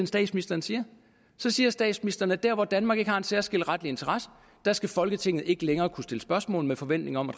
statsministeren siger så siger statsministeren at der hvor danmark ikke har en særskilt retlig interesse skal folketinget ikke længere kunne stille spørgsmål med forventning om